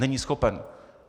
Není schopen.